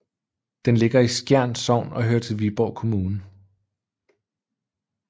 Den ligger i Skjern Sogn og hører til Viborg Kommune